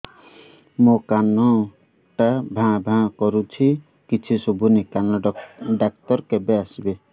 ମୋ କାନ ଟା ଭାଁ ଭାଁ କରୁଛି କିଛି ଶୁଭୁନି କାନ ଡକ୍ଟର କେବେ ଆସିବେ